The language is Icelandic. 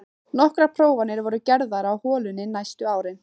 Nokkrar prófanir voru gerðar á holunni næstu árin.